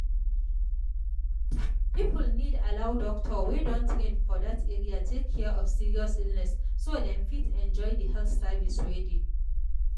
people need allow doctor wey don train for that area take care of serious sickness so dem fit enjoy the health service wey dey.